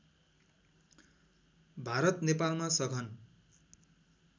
भारत नेपालमा सघन